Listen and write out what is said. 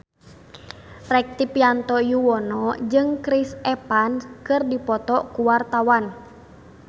Rektivianto Yoewono jeung Chris Evans keur dipoto ku wartawan